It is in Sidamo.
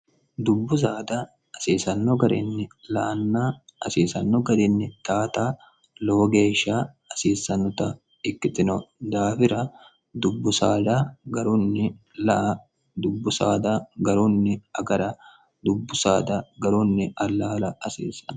dubbu saada asiisanno garinni la anna asiisanno garinni taata loo geeshsha asiissannota ikkitino daafira dubbud garunni dubbu saada garunni agara dubbu saada garunni allaala hasiissanno